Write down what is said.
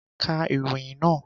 Ka ìròyìn nàá!